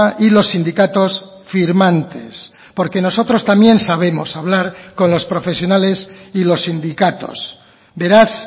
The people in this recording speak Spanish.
y los sindicatos firmantes porque nosotros también sabemos hablar con los profesionales y los sindicatos beraz